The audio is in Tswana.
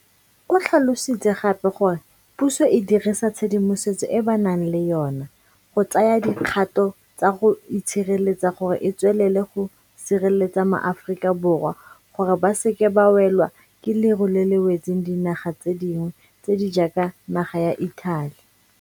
O tlhalositse gape gore puso e dirisa tshedimosetso e ba nang le yona go tsaya dikgato tsa go itshireletsa gore e tswelele go sireletsa maAforika Borwa gore ba se ke ba welwa ke leru le le wetseng dinaga tse dingwe tse di jaaka naga ya Italy.